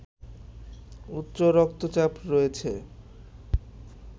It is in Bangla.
উচ্চ রক্তচাপ রয়েছে